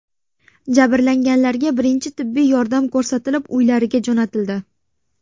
Jabrlanganlarga birinchi tibbiy yordam ko‘rsatilib, uylariga jo‘natildi.